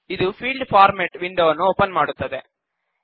ಇದು field format ವಿಂಡೋವನ್ನು open ಮಾಡುತ್ತದೆ